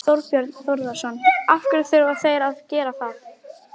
Þorbjörn Þórðarson: Af hverju þurfa þeir að gera það?